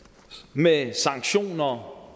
med sanktioner